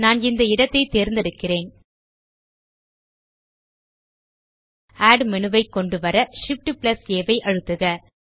நான் இந்த இடத்தைத் தேர்ந்தெடுக்கிறேன் ஆட் மேனு ஐ கொண்டுவர Shift ஆம்ப் ஆ ஐ அழுத்துக